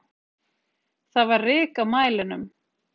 Það var ryk á mælinum.